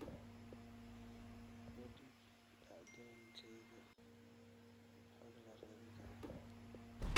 u dhiib dhacdooyinkayga xog la raadin karo